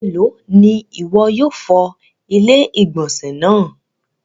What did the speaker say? Ẹmẹlo ni iwọ yóò fọ̀ ilẹ̀-igbọnsẹ̀ naa?